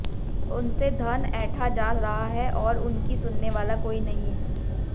उनसे धन ऐंठा जा रहा है और उनकी सुनने वाला कोई नहीं है